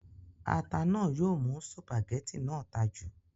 ata náà yóò mú sùpàgẹ́tì náà ta jù